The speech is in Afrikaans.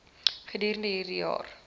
gedurende hierdie jaar